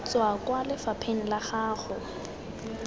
tswa kwa lefapheng la gago